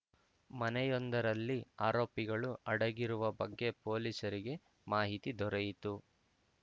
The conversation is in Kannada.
ಮನೆಯೊಂದರಲ್ಲಿ ಆರೋಪಿಗಳು ಅಡಗಿರುವ ಬಗ್ಗೆ ಪೊಲೀಸರಿಗೆ ಮಾಹಿತಿ ದೊರೆಯಿತು